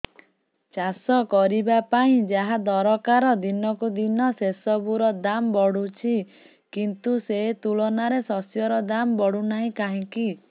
ଚାଷ କରିବା ପାଇଁ ଯାହା ଦରକାର ଦିନକୁ ଦିନ ସେସବୁ ର ଦାମ୍ ବଢୁଛି କିନ୍ତୁ ସେ ତୁଳନାରେ ଶସ୍ୟର ଦାମ୍ ବଢୁନାହିଁ କାହିଁକି